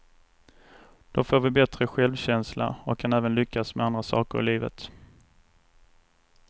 Då får vi bättre självkänsla och kan även lyckas med andra saker i livet.